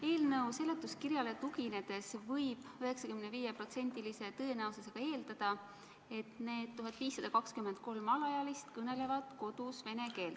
Eelnõu seletuskirjale tuginedes võib 95%-se tõenäosusega eeldada, et need 1523 alaealist kõnelevad kodus vene keelt.